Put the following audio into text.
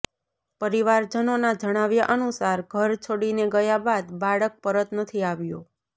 પરિવારજનોના જણાવ્યા અનુસાર ઘર છોડીને ગયા બાદ બાળક પરત નથી આવ્યો